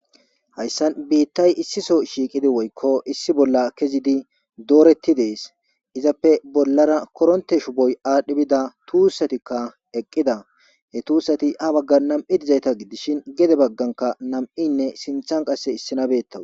hayssan biittay issiso shiiqidi woykko issi bolla kezidi dooretti dees izappe bollara koronte shuboy aadhdhi bida tuussatikka eqqida he tuussati ha bagga nam7i dizayta gidishin gede bagganka nam7inne sinthan qasse issi nabettawu